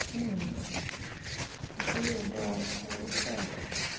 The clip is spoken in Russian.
идея да хорошая